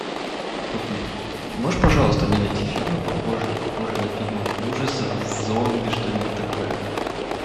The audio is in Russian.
можешь пожалуйста мне найти фильмы похожие на фильмы ужасов с зомби что нибудь такое